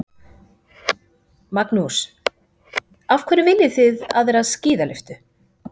Magnús: Af hverju viljið þið aðra skíðalyftu?